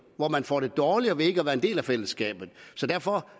hvor man får det dårligere ved ikke at være en del af fællesskabet så derfor